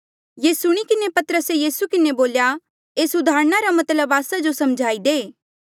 ये सुणी किन्हें पतरसे यीसू किन्हें बोल्या एस उदाहरणा रा मतलब आस्सा जो समझाई दे